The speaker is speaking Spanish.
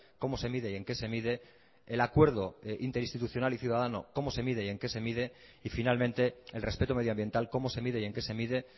cómo se mide y en qué se mide el acuerdo interinstitucional y ciudadano cómo se mide y en qué se mide y finalmente el respeto medioambiental cómo se mide y en qué se mide